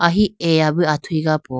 e eya bo athuyi ga po.